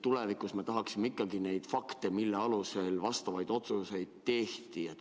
Tulevikus me tahaksime ikkagi teada neid fakte, mille alusel vastavaid otsuseid tehti.